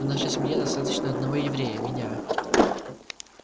в нашей семье достаточно одного еврея меня